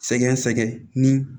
Sɛgɛ sɛgɛ ni